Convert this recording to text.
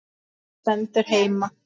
Það stendur heima.